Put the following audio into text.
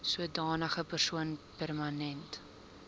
sodanige persoon permanent